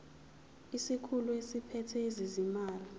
isikhulu esiphethe ezezimali